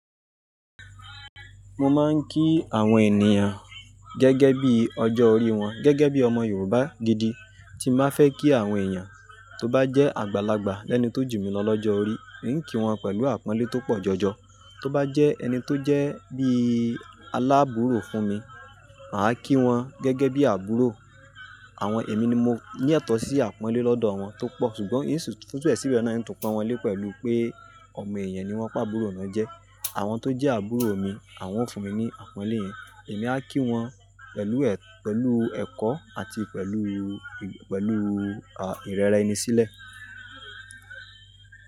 Mo máa ń kí àwọn ènìyàn gẹ́gẹ́ bí ọjọ́ orí wọn, gẹ́gẹ́ bí ọmọ Yorùbá gidi. Tí m bá fẹ́ kí àwọn èèyàn tó bá jẹ́ àgbàlagbà lẹ́ni tó jù mí lọ lọ́jọ́ orí, n kí wọn pẹ̀lú àpọ́nlé tó pọ̀ jọjọ. Tó bá jẹ́ ẹni tó jẹ́ bí alábùúrò fún mi, màá kí wọn gẹ́gẹ́ bí àbúrò. Àwọn èmi ni mo ní etọ̀o sí àpọ́nlé lọ́dọ̀ wọn tó pọ̀, ṣùgbọ́n hintu fi ture re rẹ̀ náà ni tún pọ́n wọn lé pẹ̀lú pé ọ̀mọ̀ èèyàn ni wọ́n pa àbúrò náà jẹ. Àwọn tó jẹ́ àbúrò mi, àwọn ó fúnmi ní àpọ́nlé yẹn, èèmi á kííwọn pẹ̀lú eetó àti ìrora ẹni sílẹ̀.